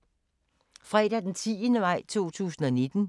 Fredag d. 10. maj 2019